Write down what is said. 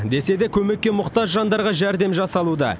десе де көмекке мұқтаж жандарға жәрдем жасалуда